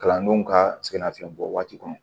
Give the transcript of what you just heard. Kalandenw ka sɛgɛnnafiɲɛbɔ waati kɔnɔ